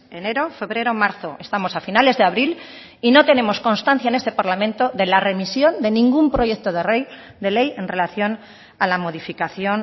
enero febrero marzo estamos a finales de abril y no tenemos constancia en este parlamento de la remisión de ningún proyecto de ley en relación a la modificación